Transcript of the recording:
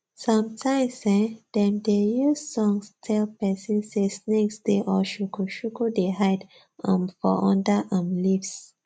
sometimes [ehn] dem dey use songs tell persin say snakes dey or shukushuku dey hide um for under um leaves